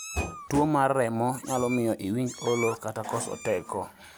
Tuwo mar remo nyalo miyo iwinj olo kata koso teko.